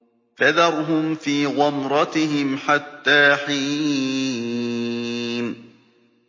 فَذَرْهُمْ فِي غَمْرَتِهِمْ حَتَّىٰ حِينٍ